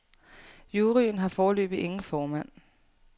Juryen har foreløbig ingen formand.